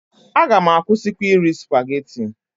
A gam akwụsịkwa iri Supageti.